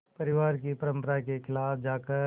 परिवार की परंपरा के ख़िलाफ़ जाकर